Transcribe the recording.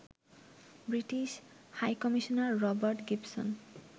British high commissioner Robert Gibson